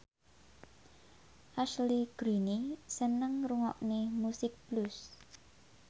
Ashley Greene seneng ngrungokne musik blues